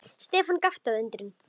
Stefán gapti af undrun.